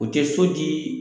U te so di